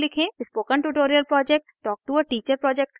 spoken tutorial project talktoa teacher project का हिस्सा है